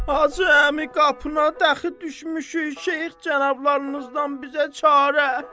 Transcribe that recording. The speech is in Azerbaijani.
Hacı əmi qapına daxı düşmüşük, Şeyx cənablarınızdan bizə çarə.